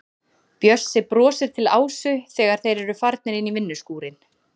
Bjössi brosir til Ásu þegar þeir eru farnir inn í vinnuskúrinn.